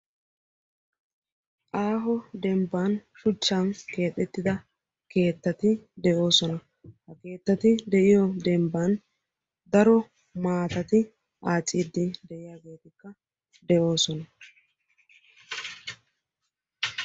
aaho demban shuchan keexettida keettati de'oosona . ha keeetati de'iyoosan maatati de'oosona .